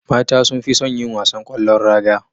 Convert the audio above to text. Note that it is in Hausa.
Mata sunfison yin wasan kwallon raga